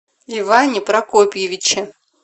иване прокопьевиче